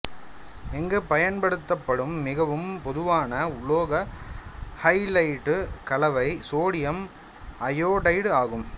இங்கு பயன்படுத்தப்படும் மிகவும் பொதுவான உலோக ஹலைடு கலவை சோடியம் அயோடைடு ஆகும்